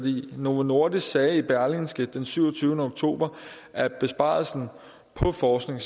novo nordisk sagde i berlingske den syvogtyvende oktober at besparelsen på forskning